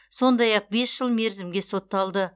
сондай ақ бес жыл мерзімге сотталды